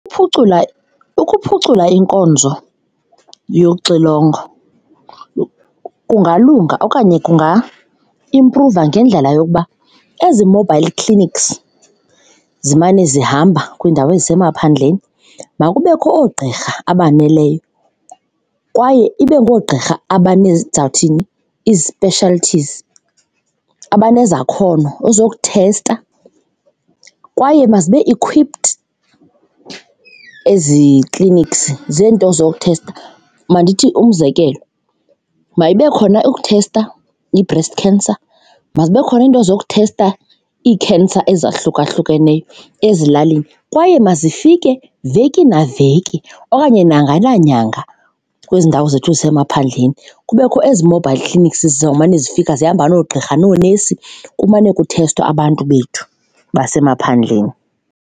Ukuphucula, ukuphucula inkonzo yoxilongo kungalunga okanye kunga-imphruva ngendlela yokuba ezi-mobile clinics zimane zihamba kwiindawo ezisemaphandleni makubekho oogqirha abaneleyo kwaye ibe ngoogqirha ndizawuthini, ii-specialties, abanezakhono ezokuthesta kwaye mazibe equipped ezi clinics zeento zokuthesta. Mandithi umzekelo mayibe khona eyokuthesta i-breast cancer, mazibe khona into zokuthesta ii-cancer ezahlukahlukeneyo ezilalini kwaye mazifike veki naveki okanye nyanga nanyanga kwezi ndawo zethu zasemaphandleni. Kubekho ezi mobile clinics ziza kumane zifika zihamba noogqirha noonesi kumane kuthestwa abantu bethu basemaphandleni.